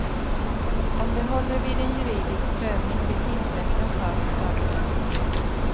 Om det håller vid en juridisk prövning blir tingsrättens sak att avgöra.